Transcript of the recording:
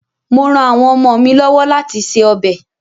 Mò ran àwọn ọmọ mi lọ́wọ́ láti se ọbẹ̀.